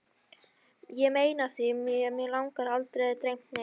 Ég meina af því mig hefur aldrei dreymt neitt.